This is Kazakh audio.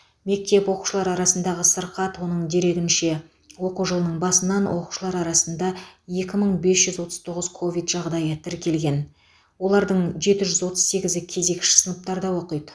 мектеп оқушылар арасындағы сырқат оның дерегінше оқу жылының басынан оқушылар арасында екі мың бес жүз отыз тоғыз ковид жағдайы тіркелген олардың жеті жүз отыз сегізі кезекші сыныптарда оқиды